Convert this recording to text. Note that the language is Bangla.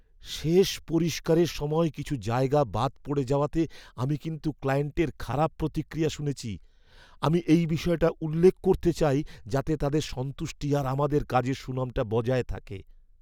শেষ পরিষ্কারের সময় কিছু জায়গা বাদ পড়ে যাওয়াতে আমি কিন্তু ক্লায়েন্টের খারাপ প্রতিক্রিয়া শুনেছি। আমি এই বিষয়টা উল্লেখ করতে চাই যাতে তাদের সন্তুষ্টি আর আমাদের কাজের সুনামটা বজায় থাকে।